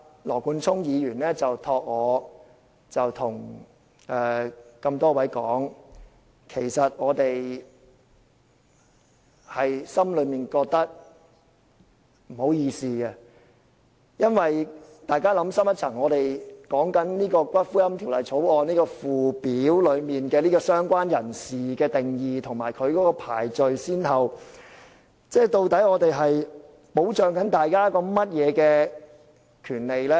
羅冠聰議員請我向各位說，其實我們內心感到不好意思，請大家想深一層，我們在討論《條例草案》的附表中"相關人士"的定義和排序先後時，究竟是在保障大家甚麼權利呢？